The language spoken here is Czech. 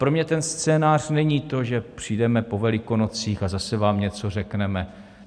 Pro mě ten scénář není to, že "přijdeme po Velikonocích a zase vám něco řekneme".